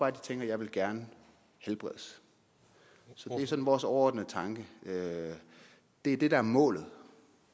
at de tænker jeg vil gerne helbredes det er sådan vores overordnede tanke det er det der er målet